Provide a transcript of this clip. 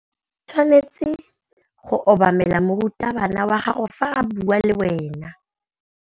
O tshwanetse go obamela morutabana wa gago fa a bua le wena.